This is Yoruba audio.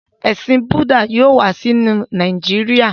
Ẹsìn Budda yíò sí wá sínú Nàìjíríà